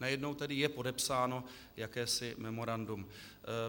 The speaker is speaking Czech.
Najednou je tedy podepsáno jakési memorandum.